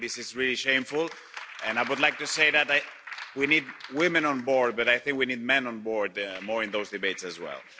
I think this is really shameful and I would like to say that that we need women on board, but I think we need more men on board in those debates as well.